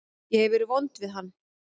Ég hef verið vond við hann.